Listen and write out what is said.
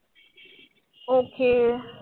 okey